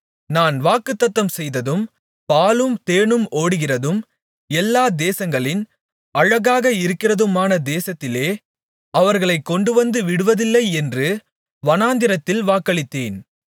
நான் வாக்குத்தத்தம்செய்ததும் பாலும் தேனும் ஓடுகிறதும் எல்லா தேசங்களின் அழகாக இருக்கிறதுமான தேசத்திலே அவர்களைக் கொண்டுவந்து விடுவதில்லை என்று வனாந்திரத்தில் வாக்களித்தேன்